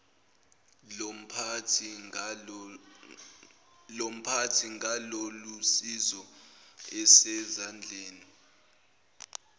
lomphathi ngalolusizo asezandleni